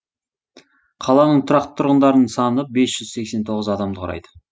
қаланың тұрақты тұрғындарының саны бес жүз сексен тоғыз адамды құрайды